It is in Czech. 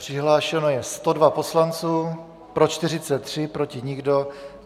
Přihlášeno je 102 poslanců, pro 43, proti nikdo.